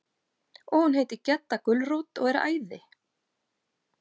Og hún heitir Gedda gulrót og er æði.